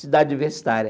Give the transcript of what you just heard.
Cidade universitária.